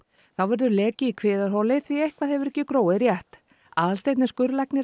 þá verður leki í kviðarholi því eitthvað hefur ekki gróið rétt Aðalsteinn er skurðlæknir